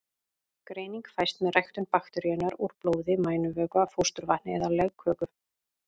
Greining fæst með ræktun bakteríunnar úr blóði, mænuvökva, fósturvatni eða legköku.